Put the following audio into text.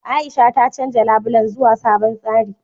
A'isha ta canja labulen zuwa sabon tsari.